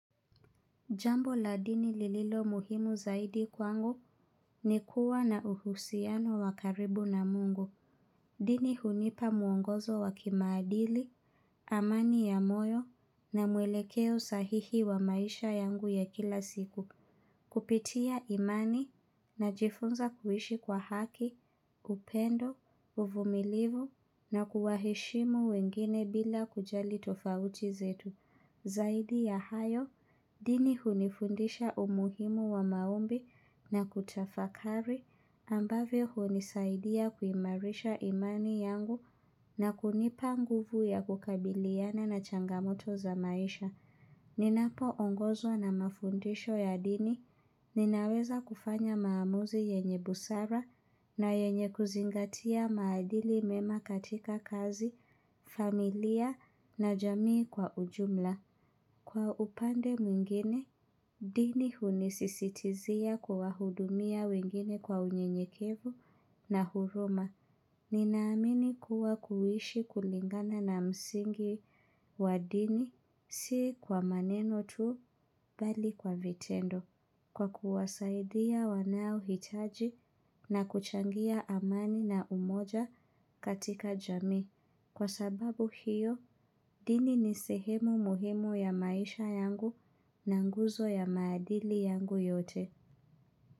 Jambo la dini lililo muhimu zaidi kwangu ni kuwa na uhusiano wa karibu na mungu. Dini hunipa mwongozo wa kimaadili, amani ya moyo na mwelekeo sahihi wa maisha yangu ya kila siku. Kupitia imani najifunza kuishi kwa haki, upendo, uvumilivu na kuwaheshimu wengine bila kujali tofauti zetu. Zaidi ya hayo, dini hunifundisha umuhimu wa maombi na kutafakari ambavyo hunisaidia kuimarisha imani yangu na kunipa nguvu ya kukabiliana na changamoto za maisha. Ninapoongozwa na mafundisho ya dini, ninaweza kufanya maamuzi yenye busara na yenye kuzingatia maadili mema katika kazi, familia na jamii kwa ujumla. Kwa upande mwingine, dini hunisisitizia kuwahudumia wengine kwa unyenyekevu na huruma. Ninaamini kuwa kuishi kulingana na msingi wa dini, si kwa maneno tu bali kwa vitendo. Kwa kuwasaidia wanaohitaji na kuchangia amani na umoja katika jamii. Kwa sababu hiyo, dini ni sehemu muhimu ya maisha yangu na nguzo ya maadili yangu yote.